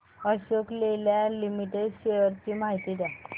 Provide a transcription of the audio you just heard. Ashok Leyland Limited shares ची माहिती द्या